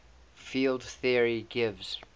field theory gives